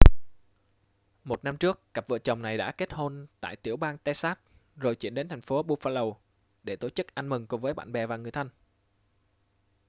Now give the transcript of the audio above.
một năm trước cặp vợ chồng này đã kết hôn tại tiểu bang texas rồi chuyển đến thành phố buffalo để tổ chức ăn mừng cùng với bạn bè và người thân